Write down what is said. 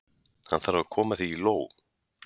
Hann þarf að koma því í lóg.